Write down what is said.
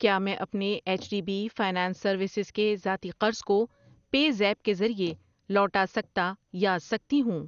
کیا میں اپنے H D B finance services کے ذاتی قرض کو پے زیپ کے ذریعے لوٹا سکتا یا سکتی ہوں؟